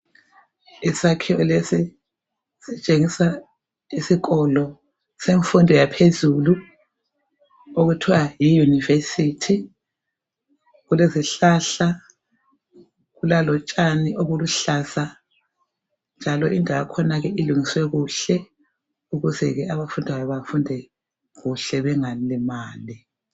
Isakhiwo lesi sitshengisa isikolo semfundo yaphezulu okuthiwa yi university, kulezihlahla, kulalotshani obuluhlaza njalo indawo yakhona ke ilungiswe kuhle ukuze ke abafundayo bafunde kuhle bengalimali